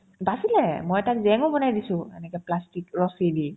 বাচিলে মই তাক GMO ও বনাই দিছো এনেকে plastic ৰছী দি